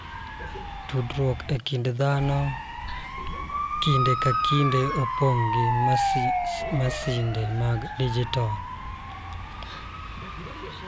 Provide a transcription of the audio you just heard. Tudruok e kind dhano kinde ka kinde opong' gi masinde mag dijitol